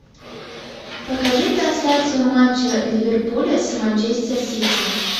покажи трансляцию матча ливерпуля с манчестер сити